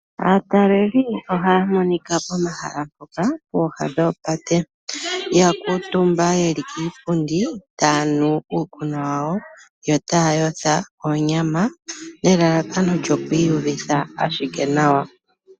Aateleli ohaamonika pomahala mpoka geli pooha noopate yakuutumba yeli kiipundi tayanu iikunwa yawo yotayayotha oonyama nelalakano lyokwiiyutha ashike nawa.